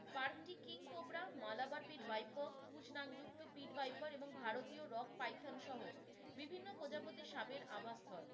পার্কটি king cobra, Malabar pit viper, পুছ নাকযুক্ত পিট ভাইপার এবং ভারতীয় রক পাইথন সহ বিভিন্ন প্রজাপতি সাপের আবাসস্থল।